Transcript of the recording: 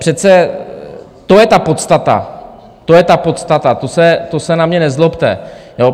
Přece to je ta podstata, to je ta podstata, to se na mě nezlobte.